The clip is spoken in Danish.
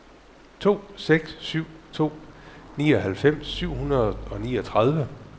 to seks syv to nioghalvfems syv hundrede og niogtredive